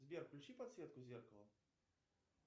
сбер включи подсветку зеркала